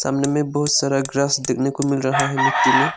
सामने में बहुत सारा ग्रास देखने को मिल रहा है मिट्टी में।